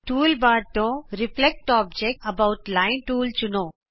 tool bar ਤੋਂ reflect object about line tool ਚੁਣੋ